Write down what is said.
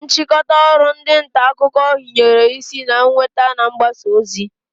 Nchịkọta ọrụ ndị ntaakụkọ hinyere isi na nnweta na mgbasa ozi